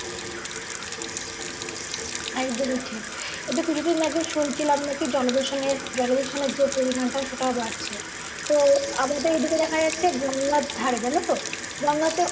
একদমই ঠিক এইতো কিছুদিন আগে শুনছিলাম নাকি জলদূষণের জলদূষণের যে পরিমানটা সেটাও বাড়ছে তো আমাদের এইদিকে দেখা যাচ্ছে গঙ্গার ধারে জানো তো গঙ্গাতে